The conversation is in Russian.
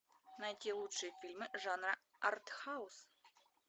найти лучшие фильмы жанра артхаус